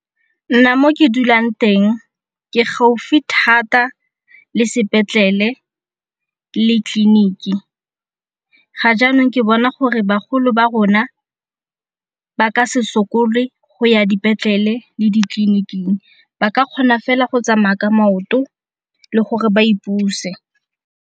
Nna mo ke dulang teng ke gaufi thata le sepetlele le tleliniki ga jaanong ke bona gore bagolo ba rona ba ka se sokole go ya dipetlele le ditleliniking ba ka kgona fela go tsamaya ka maoto le gore ba ipuse.